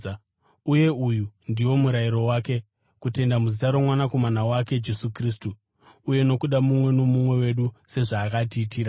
Uye uyu ndiwo murayiro wake: kutenda muzita roMwanakomana wake, Jesu Kristu, uye nokuda mumwe nomumwe wedu sezvaakatirayira.